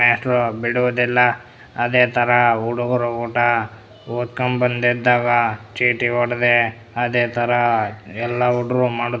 ಮೇಸ್ಟ್ರು ಬಿಡುವುದಿಲ ಅದೇ ತರ ಹುಡುಗ್ರು ಊಟ ಓದ್ಕ ಬಂದಿದ್ದಾಗ ಚೀಟಿ ಒಡೆದೆ ಅದೇ ತರ ಎಲ್ಲ ಹುಡುಗ್ರು ಮಡುತ್ತ--